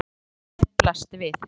Sárið á brúninni blasti við.